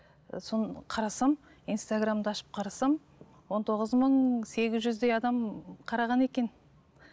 соны қарасам инстаграмды ашып қарасам он тоғыз мың сегіз жүздей адам қараған екен